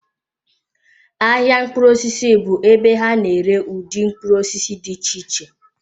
Ahịa mkpụrụ osisi bụ ebe ha na-ere ụdị mkpụrụ osisi dị iche iche.